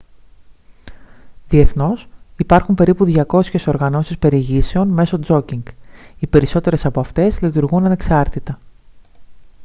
διεθνώς υπάρχουν περίπου 200 οργανώσεις περιηγήσεων μέσω τζόκινγκ οι περισσότερες από αυτές λειτουργούν ανεξάρτητα